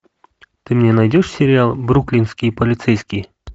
ты мне найдешь сериал бруклинские полицейские